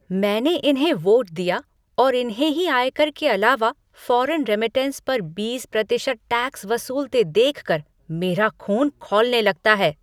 मैंने इन्हें वोट दिया और इन्हें ही आयकर के अलावा फॉरेन रेमिटेंस पर बीस प्रतिशत टैक्स वसूलते देखकर मेरा ख़ून खौलने लगता है।